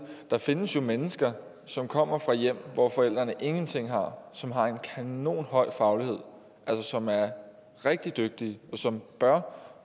der findes jo mennesker som kommer fra hjem hvor forældrene ingenting har som har en kanonhøj faglighed som er rigtig dygtige og som bør